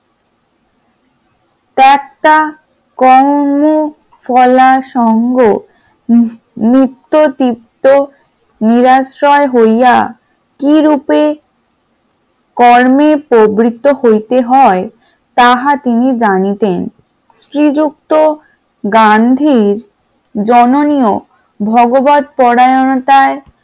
কিরূপে কর্মে পবিত্র হতে হয় তাহা তিনি জানিতেন শ্রীযুক্ত গান্ধীর জননী ও ভাগবত পরায়ণতায়